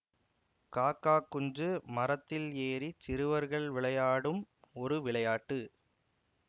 காக்கா குஞ்சு மரத்தில் ஏறிச் சிறுவர்கள் விளையாடும் ஒரு விளையாட்டு